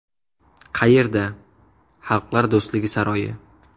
Qayerda: Xalqlar do‘stligi saroyi.